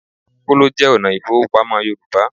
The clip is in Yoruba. Kóló jẹ́ ọ̀nà ìfowópamọ́ Yorùbá